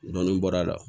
Dɔnnin bɔra a la